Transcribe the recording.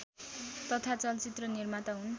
तथा चलचित्र निर्माता हुन्